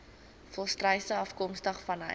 volstruise afkomstig vanuit